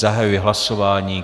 Zahajuji hlasování.